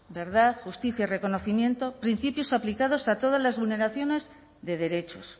verdad justicia y reconocimiento principios aplicados a todas las vulneraciones de derechos